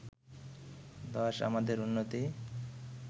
১০ আমাদের উন্নতি